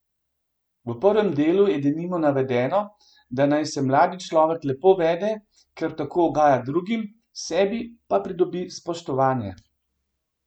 V prvem delu je denimo navedeno, da naj se mladi človek lepo vede, ker tako ugaja drugim, sebi pa pridobi spoštovanje.